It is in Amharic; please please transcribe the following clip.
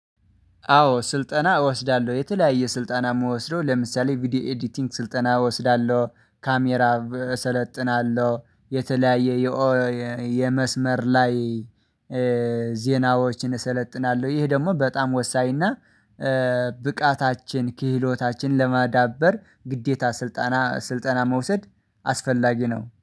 አዎ ስልጠና እወስዳለሁ የተለያየ ስልጠና ምወስደው ለምሳሌ ቪዲዮ ኤዲቲንግ ስልጠና እወስዳለሁ ካሜራ እሰለጥናለሁ የተለያየ የመስመር ላይ ዜናዎችን እሰለጥናለሁ። ይህ ደግሞ በጣም ወሳኝና ብቃታችን ክህሎታችን ለማዳበር ግዴታ ስልጠና ስልጠና መውሰድ አስፈላጊ ነው